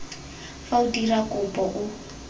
fa o dira kopo o